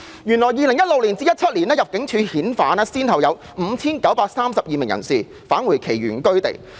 原來在 2016-2017 年度，入境事務處先後把 5,932 名人士遣返其原居地。